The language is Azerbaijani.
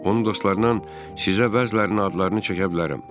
Onun dostlarından sizə bəzilərinin adlarını çəkə bilərəm.